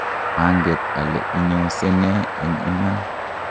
manget ale inyose nee eng iman